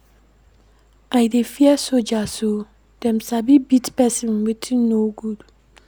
I dey fear soldiers o, dem sabi beat pesin wetin no good.